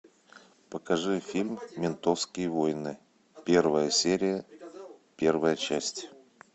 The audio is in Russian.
покажи фильм ментовские войны первая серия первая часть